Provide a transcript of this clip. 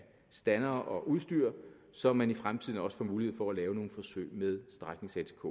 standere og udstyr så man i fremtiden også får mulighed for at lave nogle forsøg med stræknings atk